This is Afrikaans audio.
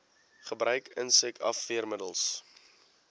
gebruik insek afweermiddels